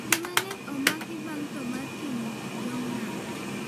Ji mang'eny omaki bang' tho mar Kim Jong-nam